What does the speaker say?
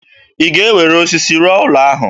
Ị ga-ewere osisi rụọ ụlọ ahụ?